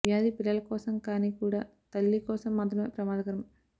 వ్యాధి పిల్లల కోసం కానీ కూడా తల్లి కోసం మాత్రమే ప్రమాదకరం